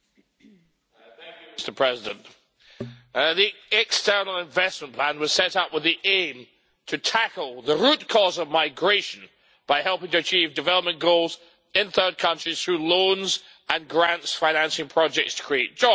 Mr President, the external investment plan was set up with the aim of tackling the root cause of migration by helping to achieve development goals in third countries through loans and grants, financing projects to create jobs.